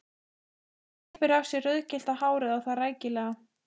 Hún klippir af sér rauðgyllta hárið og það rækilega.